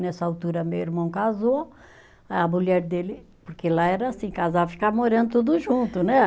Nessa altura, meu irmão casou, a mulher dele, porque lá era assim, casava e ficava morando tudo junto, né?